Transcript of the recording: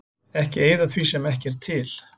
Ekki eyða því sem ekki er til.